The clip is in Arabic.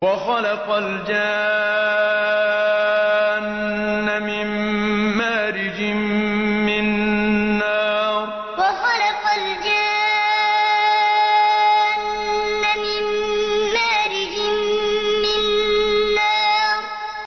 وَخَلَقَ الْجَانَّ مِن مَّارِجٍ مِّن نَّارٍ وَخَلَقَ الْجَانَّ مِن مَّارِجٍ مِّن نَّارٍ